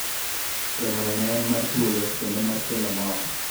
romo no ne en ma thuolo kendo mar kelo mor